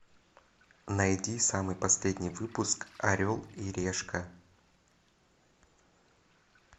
найди самый последний выпуск орел и решка